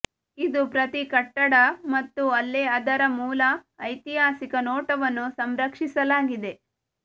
ಇದು ಪ್ರತಿ ಕಟ್ಟಡ ಮತ್ತು ಅಲ್ಲೆ ಅದರ ಮೂಲ ಐತಿಹಾಸಿಕ ನೋಟವನ್ನು ಸಂರಕ್ಷಿಸಲಾಗಿದೆ